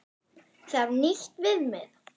Þarf nýtt viðmið?